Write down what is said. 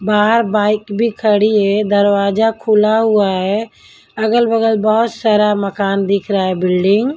बाहर बाइक भी खड़ी है दरवाजा खुला हुआ है अगल-बगल बहुत सारा मकान दिख रहा है बिल्डिंग --